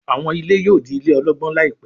àwọn ilé yóò dì ilé ologbon láìpé